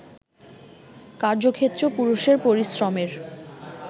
কার্যক্ষেত্রেও পুরুষের পরিশ্রমের